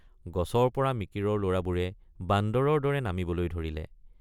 গছৰপৰ৷ মিকিৰৰ লৰাবোৰে বান্দৰৰ দৰে নামিবলৈ ধৰিলে।